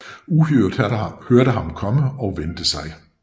Uhyret hørte ham komme og vendte sig